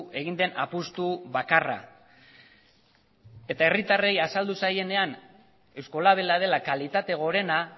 egin den apustu bakarra eta herritarrei azaldu zaienean eusko labela dela kalitate gorena